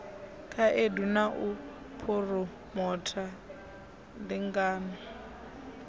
khaedu na u phuromotha ndingano